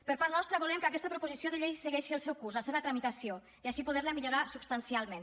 per part nostra volem que aquesta proposició de llei segueixi el seu curs la seva tramitació i així poderla millorar substancialment